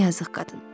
Yazıq qadın.